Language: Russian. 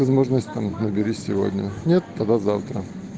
возможность там набери сегодня нет тогда завтра